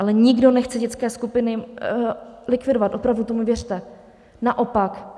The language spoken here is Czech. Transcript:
Ale nikdo nechce dětské skupiny likvidovat, opravdu, tomu věřte, naopak.